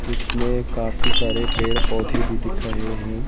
जिसमें काफी सारे पेड़ पौधे भी दिख रहे हैं।